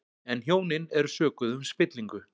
En hjónin eru sökuð um spillingu